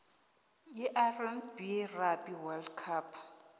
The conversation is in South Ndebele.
irb rugby world cup